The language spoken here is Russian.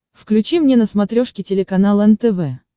включи мне на смотрешке телеканал нтв